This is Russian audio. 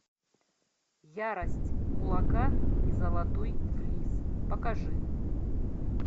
ярость кулака и золотой флис покажи